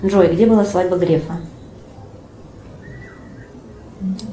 джой где была свадьба грефа